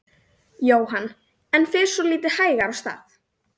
Jóhann: En fer svolítið hægar af stað?